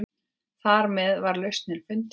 Þarmeð var lausnin fundin.